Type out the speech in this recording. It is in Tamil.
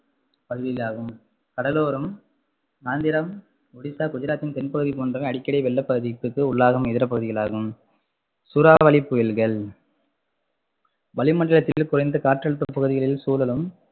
பகுதிகளாகும் கடலோரம் ஆந்திரம், ஒடிசா, குஜராத்தின் தென்பகுதி போன்றவை அடிக்கடி வெள்ளபாதிப்புக்கு உள்ளாகும் இதர பகுதிகளாகும் சூறாவளி புயல்கள் வளிமண்டலத்தில் குறைந்த காற்றழுத்த பகுதிகளில் சுழலும்